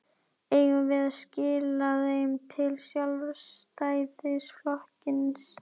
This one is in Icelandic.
Eigum við að skila þeim til Sjálfstæðisflokksins?